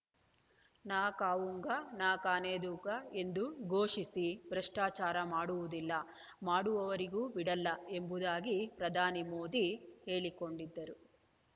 ನ ಖಾವೂಂಗಾ ನ ಖಾನೇದೂಂಗಾ ಎಂದು ಘೋಷಿಸಿ ಭ್ರಷ್ಟಾಚಾರ ಮಾಡುವುದಿಲ್ಲ ಮಾಡುವವರಿಗೂ ಬಿಡಲ್ಲ ಎಂಬುದಾಗಿ ಪ್ರಧಾನಿ ಮೋದಿ ಹೇಳಿಕೊಂಡಿದ್ದರು